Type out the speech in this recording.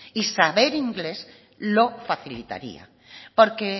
y saber inglés lo facilitaría porque